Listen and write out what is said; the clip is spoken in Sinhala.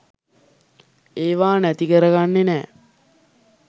ඒවා නැති කරගන්නේ නෑ.